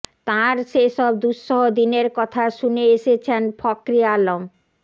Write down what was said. তাঁর সেসব দুঃসহ দিনের কথা শুনে এসেছেন ফখরে আলম